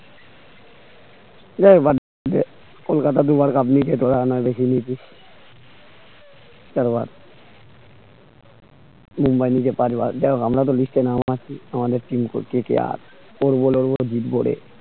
কলকাতা দুবার cup নিয়েছে তো আনা দেখে নিয়েছি পরের বার মুম্বাই নিয়েছে পাঁচ বার দেখো আমরা তো list এ নাম আছি আমাদের team তো KKR পড়বো লড়বো জিতবো রে